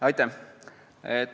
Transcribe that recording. Aitäh!